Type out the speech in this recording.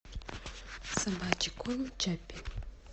собачий корм чаппи